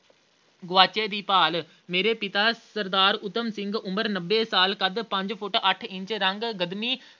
ਗੁਆਚੇ ਦੀ ਭਾਲ਼, ਮੇਰੇ ਪਿਤਾ ਸਰਦਾਰ ਊਧਮ ਸਿੰਘ ਉਮਰ ਨੱਬੇ ਸਾਲ ਕੱਦ ਪੰਜ ਫੁੱਟ ਅੱਠ ਇੰਚ ਰੰਗ